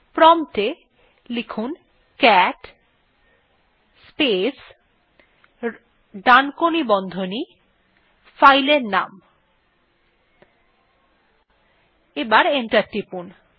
prompt এ cat space ডানকোনি বন্ধনী স্পেস ফাইলের নাম লিখে এন্টার টিপুন